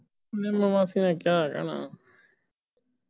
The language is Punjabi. ਨਿੰਮੋ ਮਾਸੀ ਨੇ ਕਿਆ ਕਹਿਣਾ